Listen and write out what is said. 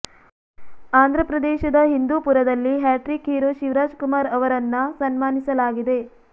ಆಂಧ್ರ ಪ್ರದೇಶದ ಹಿಂದೂಪುರದಲ್ಲಿ hattrick hero Shivaraj Kumar ಅವರನ್ನ ಸನ್ಮಾನಿಸಲಾಗಿದೆ